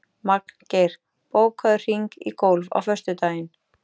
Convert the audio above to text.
Magngeir, bókaðu hring í golf á föstudaginn.